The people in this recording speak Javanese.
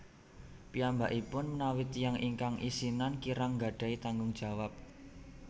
Piyambakipun menawi tiyang ingkang isinan kirang gadhahi tanggung jawab